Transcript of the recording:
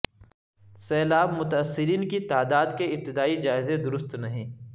سیلاب متاثرین کی تعداد کے ابتدائی جائزے درست نہیں